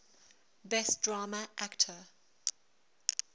best drama actor